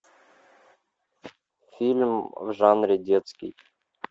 фильм в жанре детский